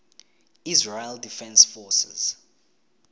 israel defense forces